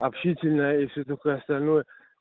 общительная если только остальное